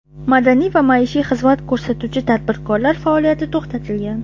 madaniy va maishiy xizmat ko‘rsatuvchi tadbirkorlar faoliyati to‘xtatilgan.